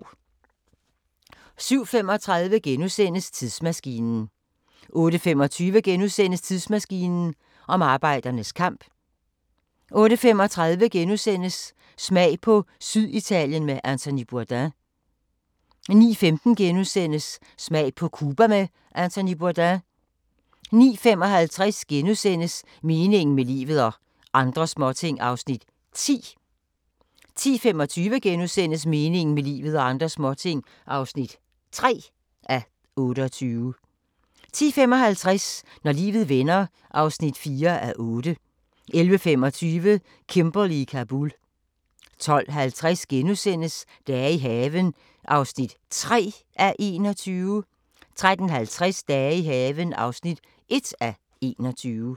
07:35: Tidsmaskinen * 08:25: Tidsmaskinen om arbejdernes kamp * 08:35: Smag på Syditalien med Anthony Bourdain * 09:15: Smag på Cuba med Anthony Bourdain * 09:55: Meningen med livet – og andre småting (10:28)* 10:25: Meningen med livet – og andre småting (3:28)* 10:55: Når livet vender (4:8) 11:25: Kimberley i Kabul 12:50: Dage i haven (3:21)* 13:50: Dage i haven (1:21)